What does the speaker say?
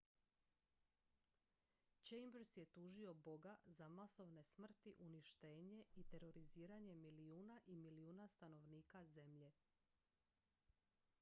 chambers je tužio boga za masovne smrti uništenje i teroriziranje milijuna i milijuna stanovnika zemlje